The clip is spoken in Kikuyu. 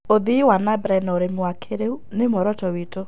Ũthĩĩ nambere na ũrĩmĩ wa kĩĩrĩũ nĩ mũoroto wĩtũ